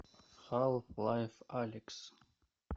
халф лайф алекс